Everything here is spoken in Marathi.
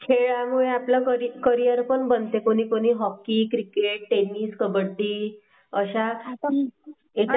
खेळामुळे आपला करियर करिअर पण बनते कोणी कोणी हॉकी क्रिकेट टेनिस कबड्डी अश्या